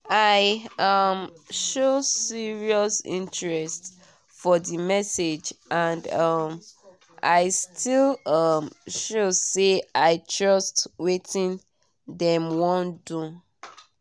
i um show serious interest for the message and um i still um show say i trust wetin dem wan do